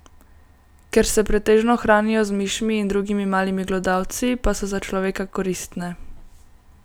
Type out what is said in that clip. Ker se pretežno hranijo z mišmi in drugimi malimi glodavci, pa so za človeka koristne.